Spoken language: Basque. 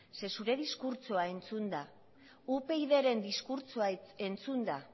ze zure diskurtsoa entzunda upydren diskurtsoa entzunda